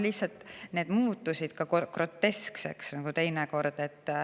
Lihtsalt see muutus teinekord lausa groteskseks.